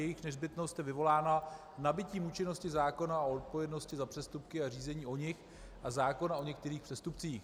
Jejich nezbytnost je vyvolána nabytím účinnosti zákona o odpovědnosti za přestupky a řízení o nich a zákona o některých přestupcích.